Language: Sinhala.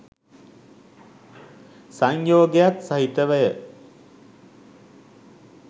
සංයෝගයක් සහිතවය.